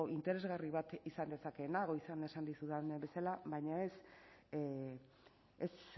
interesgarri bat izan dezakeena goizean esan dizudan bezala baina ez